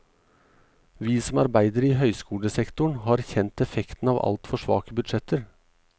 Vi som arbeider i høyskolesektoren, har kjent effekten av altfor svake budsjetter.